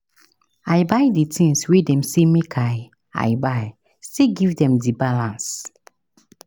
I buy di tins wey dem sey make I I buy still give dem di balance.